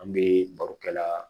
An bɛ barokɛla